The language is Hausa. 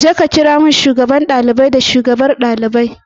Jeka kira mun shugaban ɗalibai da shugabar ɗalibai.